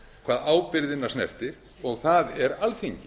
hvað ábyrgðina snertir þar er alþingi